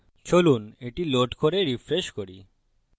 চলুন এটি load করে refresh করি